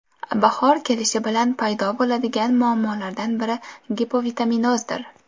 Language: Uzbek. Bahor kelishi bilan paydo bo‘ladigan muammolardan biri gipovitaminozdir.